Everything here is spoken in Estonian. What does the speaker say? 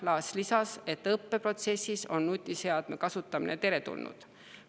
Laats lisas, et õppeprotsessis on nutiseadme kasutamine teretulnud.